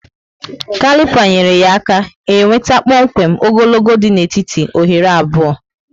kalipa nyere ya aka e nweta kpọmkwem ogologo dị na étíti oghere abụọ